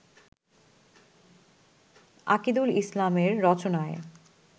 আকিদুল ইসলামের রচনায়